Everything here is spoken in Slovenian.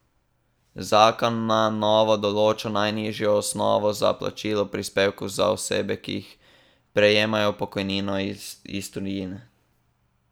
Zakon na novo določa najnižjo osnovo za plačilo prispevkov za osebe, ki prejemajo pokojnino iz tujine.